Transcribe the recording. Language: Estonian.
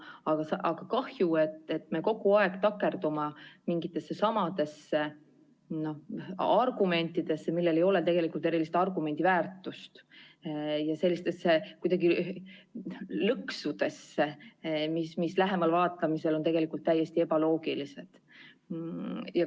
Samas on kahju, et me kogu aeg takerdume mingitesse samadesse argumentidesse, millel ei ole tegelikult erilist argumendiväärtust, ja sellistesse lõksudesse, mis lähemal vaatlemisel on täiesti ebaloogilised.